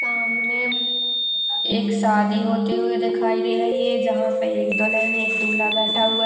सामने एक शादी होती हुए दिखाई दे रही है। जहा पे एक दुल्हन एक दुल्हा बैठा हुआ है।